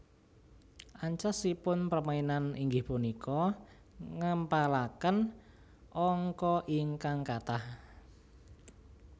Ancasipun permainan inggih punika ngèmpalakèn angka ingkang katah